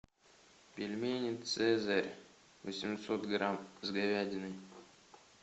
пельмени цезарь восемьсот грамм с говядиной